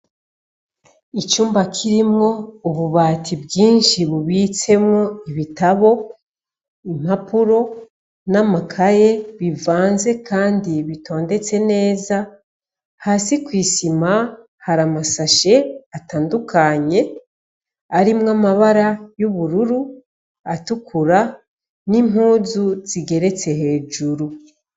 Icumba kirimwo ububati bwinshi bubitsemwo ibitabo impapuro n'amakaye bivanze, kandi bitondetse neza hasi kw'isima hari amasashe atandukanye arimwo amabara y'ubururu atukura n'impuzu zigeretse hejuru.